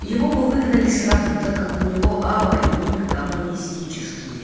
его бы выгнали сразу так как у него ава и ник коммунистически